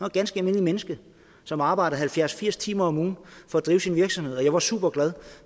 et ganske almindeligt menneske som arbejdede halvfjerds til firs timer om ugen for at drive sin virksomhed og jeg var super glad